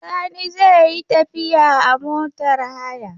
Sani zai yi tafiya a motar haya.